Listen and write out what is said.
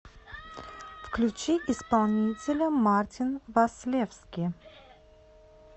включи исполнителя мартин васлевски